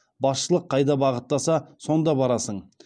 басшылық қайда бағыттаса сонда барасың